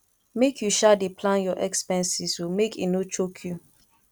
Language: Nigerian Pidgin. make you um dey plan your expenses o make e no choke you